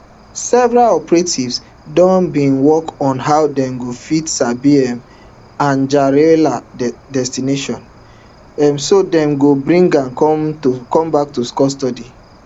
security operatives don begin work on how dem go fit sabi um anjarwalla destination um so dem go bring am back to custody